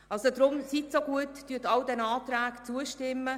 Deshalb, seien Sie so gut, stimmen Sie sämtlichen Anträgen zu.